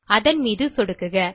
அதன் மீது சொடுக்குக